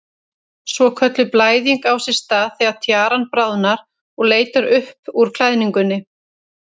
Svokölluð blæðing á sér stað þegar tjaran bráðnar og leitar upp úr klæðingunni.